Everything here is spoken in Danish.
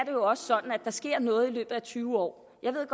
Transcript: der sker noget i løbet af tyve år jeg ved